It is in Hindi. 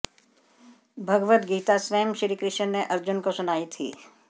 भगवद गीता स्वयं श्रीकृष्ण ने अर्जुन को सुनाई थी